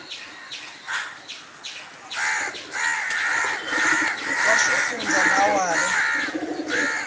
wa xifundza na wa le